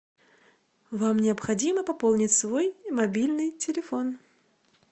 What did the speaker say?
вам необходимо пополнить свой мобильный телефон